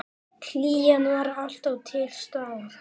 Hlýjan var alltaf til staðar.